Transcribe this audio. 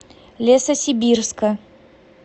лесосибирска